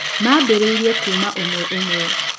Maambĩrĩirie kuuma ũmwe ũmwe.